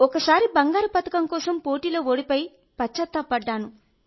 ఒకసారి బంగారు పతకం కోసం పోటీలో ఓడిపోయి పశ్చాత్తాపపడ్డాను